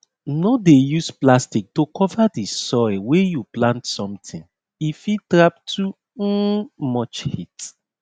no dey use plastic to cover di soil wey you plant something e fit trap too um much heat